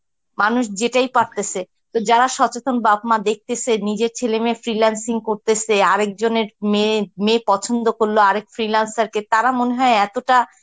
মানুষ যেটাই পারতেসে, তো যারা সচেতন বাপ মা দেখতেসে নিজের ছেলে মেয়ে freelancing করতেসে আর একজনের মে~ মেয়ে পছন্দ করলো আর এক freelancer কে তারা মনে হয় এতটা